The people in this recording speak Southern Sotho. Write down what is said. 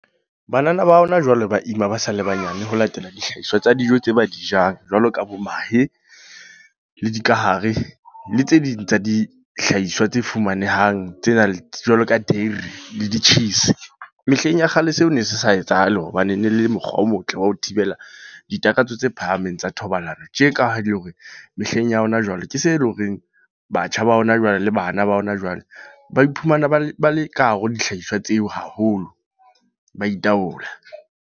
Banana ba hona jwale ba ima ba sa le banyane, ho latela dihlahiswa tsa dijo tse ba dijang. Jwalo ka bo mahe, le dikahare, le tse ding tsa dihlahiswa tse fumanehang. Tse nang le jwalo ka teri, le di-cheese. Mehleng ya kgale seo ne se sa etsahale. Hobane ne le mokgwa o motle wa ho thibela ditakatso tse phahameng tsa thobalano. Tje ka le hore mehleng ya hona jwale ke se eleng horeng batjha ba hona jwale, le bana ba hona jwale. Ba iphumana ba le, ba le kahare ho dihlahiswa tseo haholo. Ba itaola.